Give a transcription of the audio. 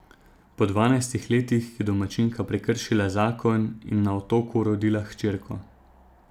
Po dvanajstih letih je domačinka prekršila zakon in na otoku rodila hčerko.